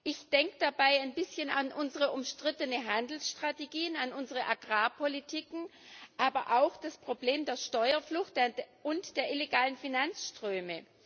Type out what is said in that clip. Ich denke dabei ein bisschen an unsere umstrittenen Handelsstrategien, an unsere Agrarpolitiken, aber auch an das Problem der Steuerflucht und der illegalen Finanzströme.